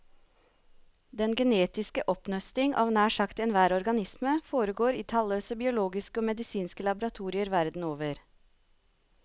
Den genetiske oppnøsting av nær sagt enhver organisme foregår i talløse biologiske og medisinske laboratorier verden over.